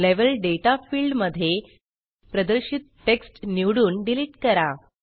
level दाता field मध्ये प्रदर्शित टेक्स्ट निवडून डिलीट करा